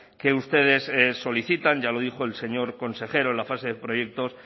que ustedes solicitan ya lo dijo el señor consejero en la fase de proyectos